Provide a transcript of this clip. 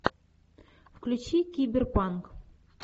включи киберпанк